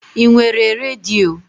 I nwere redio?